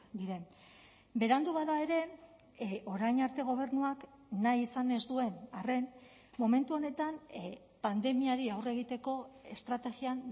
diren berandu bada ere orain arte gobernuak nahi izan ez duen arren momentu honetan pandemiari aurre egiteko estrategian